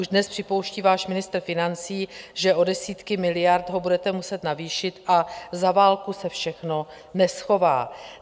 Už dnes připouští váš ministr financí, že o desítky miliard ho budete muset navýšit, a za válku se všechno neschová.